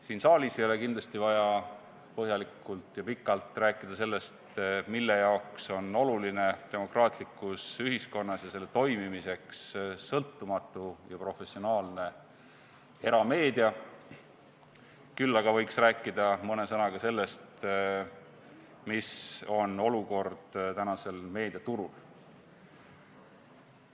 Siin saalis ei ole kindlasti vaja põhjalikult ja pikalt rääkida sellest, mille jaoks on demokraatlikus ühiskonnas ja selle toimimiseks oluline sõltumatu ja professionaalne erameedia, küll aga võiks rääkida mõne sõnaga sellest, mis olukord on tänasel meediaturul.